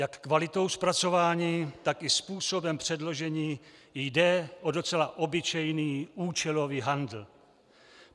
Jak kvalitou zpracování, tak i způsobem předložení jde o docela obyčejný účelový handl.